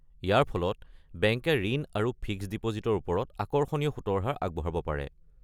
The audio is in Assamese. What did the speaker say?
ইয়াৰ ফলত বেংকে ঋণ আৰু ফিক্সড ডিপ'জিটৰ ওপৰত আকৰ্ষণীয় সূতৰ হাৰ আগবঢ়াব পাৰে।